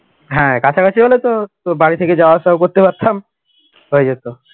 হ্যাঁ কাছাকাছি হলে তো বাড়ি থেকে যাওয়া আসা করতে পারতাম হয়ে যেত